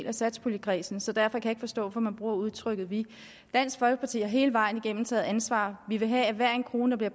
af satspuljekredsen så derfor kan jeg ikke forstå hvorfor man bruger udtrykket vi dansk folkeparti har hele vejen igennem taget ansvar vi vil have at hver en krone der